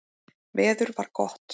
Veður var gott.